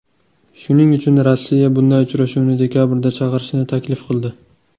Shuning uchun Rossiya bunday uchrashuvni dekabrda chaqirishni taklif qildi.